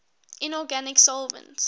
inorganic solvents